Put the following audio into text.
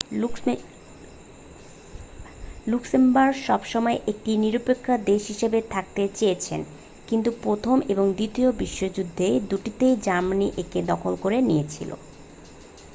Luxembourg সব সময়ই একটি নিরপক্ষে দেশ হিসেবে থাকতে চেয়েছে কিন্তু প্রথম এবং দ্বিতীয় বিশ্বযুদ্ধের দুটিতেই জার্মানি একে দখল করে নিয়েছিল